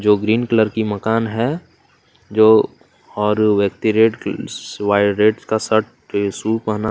जो green colour की मकान है जो और व्यक्ति रेड कल सस व्हाइट रेड का शर्ट आ शू पहना --